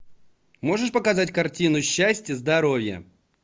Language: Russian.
можешь показать картину счастья здоровья